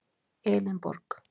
Elínborg